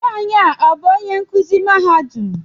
Nwanyi a ọ bú onye nkụzi mahadum?